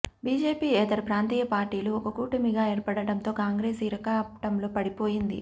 BJP యేతర ప్రాంతీయ పార్టీలు ఒక కూటమిగా ఏర్పడడంతో కాంగ్రెస్ ఇరకాటంలో పడిపోయింది